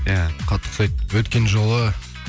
иә қатты ұқсайды өткен жолы